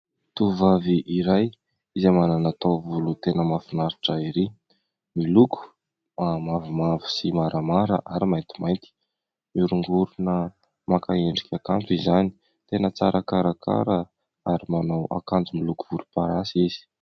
Tovovavy iray, izay manana taovolo tena mahafinaritra ahy ery ! Miloko mavomavo sy maramara ary maintimainty. Mihoringorina maka endrika kanto izany. Tena tsara karakara. Ary manao akanjo miloko volomparasy izy.